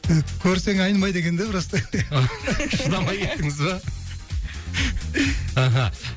көрсең айнымайды екен да просто шыдамай кеттіңіз ба аха